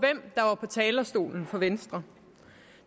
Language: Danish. talerstolen for venstre